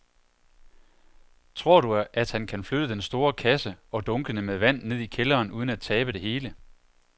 Tror du, at han kan flytte den store kasse og dunkene med vand ned i kælderen uden at tabe det hele?